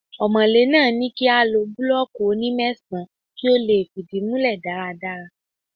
Ọmọ̀lé náà ní kí a lo búlọ́ọ́kì oní mẹ́sàn-án kí ó lè fìdí múlẹ̀ dáradára.